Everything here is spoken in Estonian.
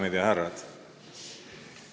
Daamid ja härrad!